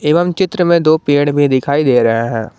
एवं चित्र में दो पेड़ भी दिखाई दे रहे हैं।